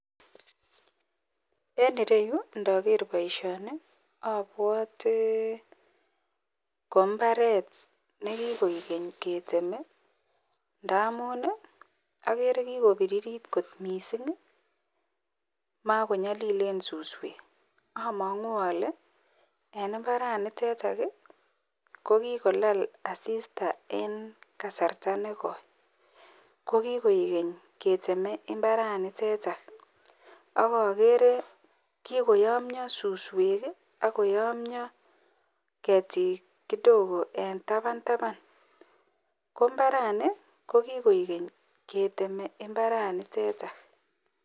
En ireyu ndaker baishoni abwate kobmbaret nilekikoyam ak kikoikeny ketemendamunagere kikobiririt kot mising ako makonyalilen suswek amangu ale en imbaraniteton kokikolala asista en kasarta negoi kokiogeny keteme imbaraniteton akakere kikoyomia suswek akoyomio ketik kidogo en taban taban kombarani kokikoigeny keteme imbaraniteton